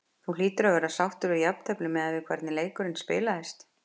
Þú hlýtur að vera sáttur við jafntefli miðað við hvernig leikurinn spilaðist?